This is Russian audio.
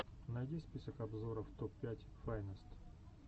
найди список обзоров топ пять файнест